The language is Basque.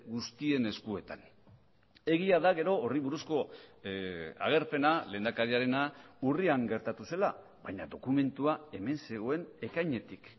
guztien eskuetan egia da gero horri buruzko agerpena lehendakariarena urrian gertatu zela baina dokumentua hemen zegoen ekainetik